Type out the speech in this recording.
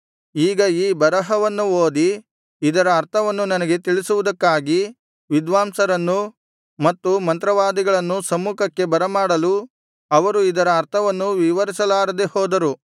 ಈಗ ಈ ಬರಹವನ್ನು ಓದಿ ಇದರ ಅರ್ಥವನ್ನು ನನಗೆ ತಿಳಿಸುವುದಕ್ಕಾಗಿ ವಿದ್ವಾಂಸರನ್ನೂ ಮತ್ತು ಮಂತ್ರವಾದಿಗಳನ್ನೂ ಸಮ್ಮುಖಕ್ಕೆ ಬರಮಾಡಲು ಅವರು ಇದರ ಅರ್ಥವನ್ನು ವಿವರಿಸಲಾರದೆ ಹೋದರು